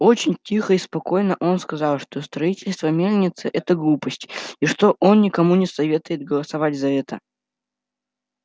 очень тихо и спокойно он сказал что строительство мельницы это глупость и что он никому не советует голосовать за это